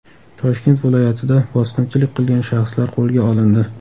Toshkent viloyatida bosqinchilik qilgan shaxslar qo‘lga olindi.